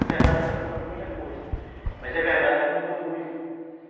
É verdade que está faltando muita coisa, mas é verdade que mudou muito.